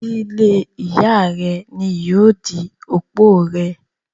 dílé Ìyá rẹ ni yóò di òpó rẹ.